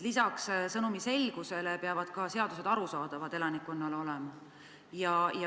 Lisaks sõnumi selgusele peavad seadused olema ka elanikkonnale arusaadavad.